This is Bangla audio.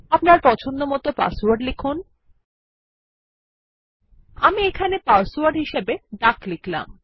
আপনার পছন্দমত পাসওয়ার্ড লিখুন আমি এখানে পাসওয়ার্ড হিসাবে ডাক লিখলাম